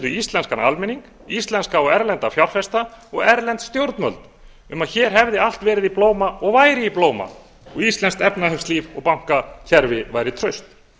íslenskan almenning íslenska og erlenda fjárfesta og erlend stjórnvöld um að hér hefði allt verið í blóma og væri í blóma og íslenskt efnahagslíf og bankakerfi væri traust